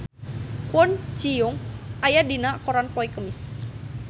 Kwon Ji Yong aya dina koran poe Kemis